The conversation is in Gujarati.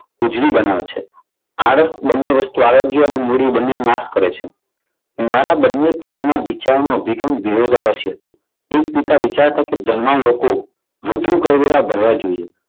ઉજળી બનાવે છે. આળસ બંને વસ્તુ આરોગ્ય અને મૂડી બંનેનો નાશ કરે છે. બંને પિતાના વિચારો વિરોધાભાસી હતા. તો એક પિતા વિચારતા કે ધનવાન લોકો વધુ કરવેરા ભરવા જોઈએ.